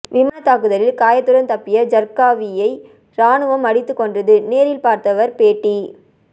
விமானத்தாக்குதலில் காயத்துடன் தப்பிய ஜர்க்காவியை ராணுவம் அடித்துக் கொன்றது நேரில் பார்த்தவர் பேட்டி